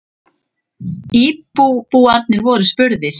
Íbúarnir voru spurðir.